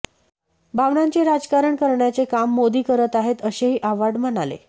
भावनांचे राजकारण करण्याचे काम मोदी करत आहेत असेही आव्हाड म्हणाले